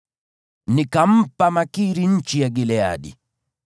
Nikampa Makiri nchi ya Gileadi.